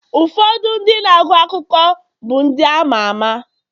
ụfọdụ ndị na-agụ akụkọ bụ ndị ama ama